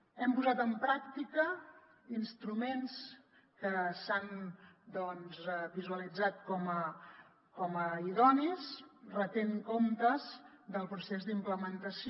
hem posat en pràctica instruments que s’han doncs visualitzat com a idonis retent comptes del procés d’implementació